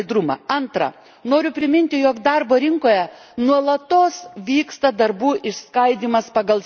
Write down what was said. Antra, noriu priminti, jog darbo rinkoje nuolatos vyksta darbų išskaidymas pagal sektorius.